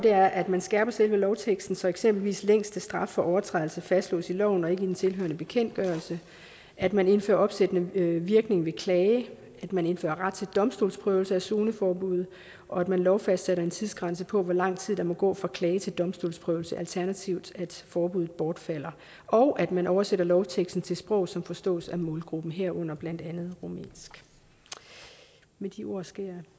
er at man skærper selve lovteksten så eksempelvis den længste straf for overtrædelse fastslås i loven og ikke i den tilhørende bekendtgørelse at man indfører opsættende virkning ved klage at man indfører ret til domstolsprøvelse af zoneforbuddet og at man lovfastsætter en tidsgrænse på hvor lang tid der må gå fra klage til domstolsprøvelse alternativt at forbuddet bortfalder og at man oversætter lovteksten til sprog som forstås af målgruppen herunder blandt andet rumænsk med de ord skal jeg